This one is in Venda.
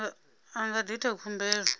a nga ḓi ita khumbelo